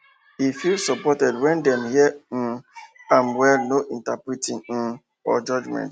e feel supported when dem hear um am well no interrupting um or judgement